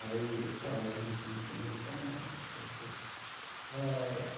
Aí, eu estava junto com esse americano.